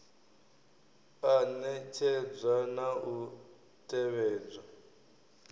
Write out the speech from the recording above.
a ṋetshedzwa na u tevhedzwa